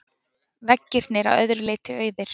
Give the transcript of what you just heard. Veggirnir að öðru leyti auðir.